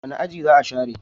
Wani aji za a share?